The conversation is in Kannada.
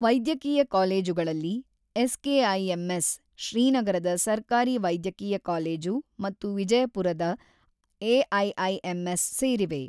ವೈದ್ಯಕೀಯ ಕಾಲೇಜುಗಳಲ್ಲಿ ಎಸ್‌ಕೆಐಎಂಎಸ್, ಶ್ರೀನಗರದ ಸರ್ಕಾರಿ ವೈದ್ಯಕೀಯ ಕಾಲೇಜು ಮತ್ತು ವಿಜಯಪುರದ ಏಐಐಎಂಎಸ್ ಸೇರಿವೆ.